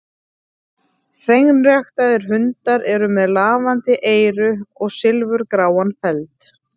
Hreinræktaðir hundar eru með lafandi eyru og silfurgráan feld.